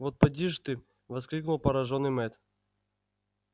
вот поди ж ты воскликнул поражённый мэтт